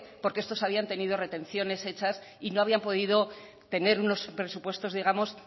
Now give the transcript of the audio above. porque estos habían tenido retenciones hechas y no habían podido tener unos presupuestos digamos